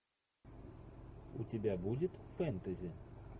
у тебя будет фэнтези